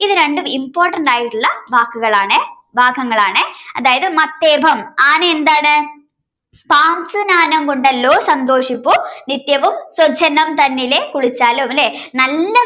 ഇതുരണ്ടും important ആയിട്ടുള്ള വാക്കുകളാണേ ഭാഗങ്ങളാണേ അതായത് മത്തേപം ആനയെന്താണ് സാംശുനാനം കൊണ്ടല്ലോ സന്തോഷിപ്പൂ നിത്യവും സ്വജ്ജലം തന്നിലെ കുളിച്ചായാലും ലെ നല്ല